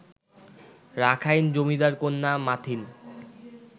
Rakhine জমিদারকন্যা মাথিন